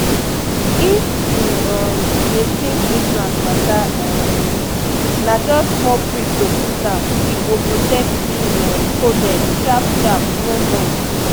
if u um dey think implant mata um na jst small prick to put m e go protect u um coded sharp sharp no noise.